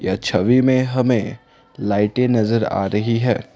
यह छवि में हमें लाइटें नजर आ रही है।